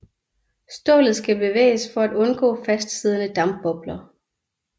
Stålet skal bevæges for at undgå fastsiddende dampbobler